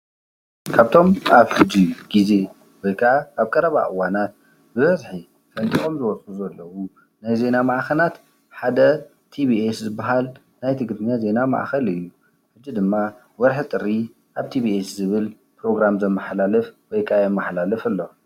ካብ እቶም ኣብ ሕጂ ግዜ ወይ ከዓ ኣብ ቀረባ እዋናት ብበዝሒ ፈንጢቆም ዝወፁ ዘለዉ ናይ ዜና ማዕኸናት ሓደ ቲቪኤስ ዝባሃል ናይ ትግርኛ ዜና ማእኸል እዩ፡፡ ሕዚ ድማ ወርሒ ጥሪ ኣብ ቲቪኤስ ዝብል ፕሮግራም ዘመሓላልፍ ወይ ከዓ የማሓላልፍ ኣሎ፡፡